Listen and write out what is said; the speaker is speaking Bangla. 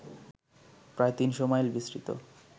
প্রায় তিনশো মাইল বিস্তৃত